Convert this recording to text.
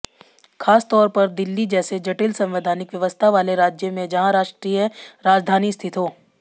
खासतौर पर दिल्ली जैसे जटिल संवैधानिक व्यवस्था वाले राज्य में जहां राष्ट्रीय राजधानी स्थित हो